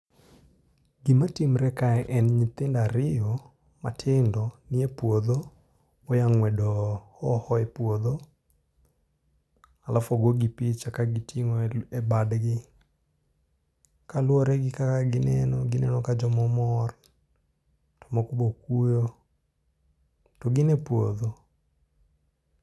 Gimatimre kae en nyithinda ariyo matindo, ni e puodho, oya ng'wedo hoho e puodho. alafu ogogi gi picha ka giting'o e e badgi. Kaluwore gi kaka ginno, gineno ka joma omor, to moko bokuyo, to gin e puodho